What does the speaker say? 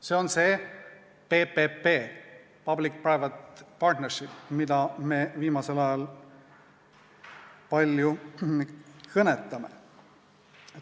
See on see PPP, public private partnership, millest me viimasel ajal palju kõnelenud oleme.